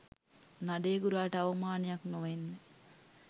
නඩේ ගුරාට අවමානයක් නොවෙන්න